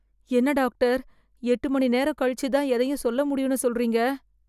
என்ன டாக்டர் எட்டு மணி நேரம் கழிச்சு தான் எதையும் சொல்ல முடியும்னு சொல்றீங்க